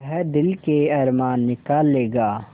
वह दिल के अरमान निकाल लेगा